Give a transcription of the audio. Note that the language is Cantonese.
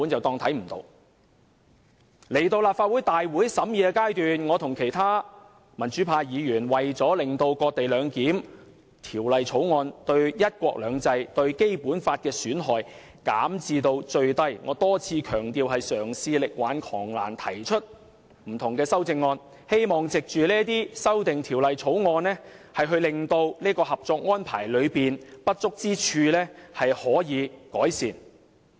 到了提交立法會會議的審議階段，我和其他民主派議員為了令"割地兩檢"的《條例草案》，對"一國兩制"和《基本法》的損害減至最低——我多次強調那是嘗試力挽狂瀾——提出不同的修正案，希望可藉着這些修正案，改善《合作安排》中的不足之處。